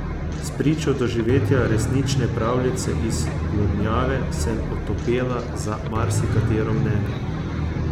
Spričo doživetja resnične pravljice iz blodnjave sem otopela za marsikatero mnenje.